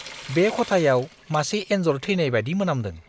बे खथायाव मासे एन्जर थैनाय बायदि मोनामदों।